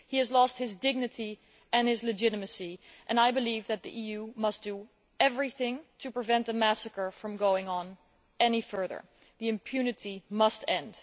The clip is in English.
He has lost his dignity and his legitimacy and I believe that the EU must do everything to prevent the massacre from going on any further. The impunity must end.